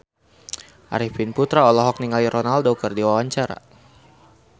Arifin Putra olohok ningali Ronaldo keur diwawancara